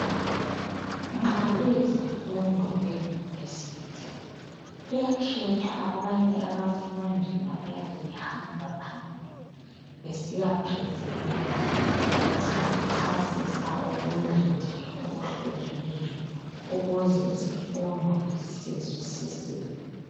Nxa kuyizifundo eUniversity kuyakhethwa abanye abafundi abayabe behamba phambili besiyapresenter bechasichasisa okunye nje okuhlukeneyo ukuze isifundo sizwisiseke.